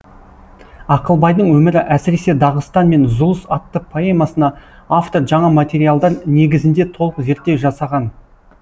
ақылбайдың өмірі әсіресе дағыстан мен зұлыс атты поэмасына автор жаңа материалдар негізінде толық зерттеу жасаған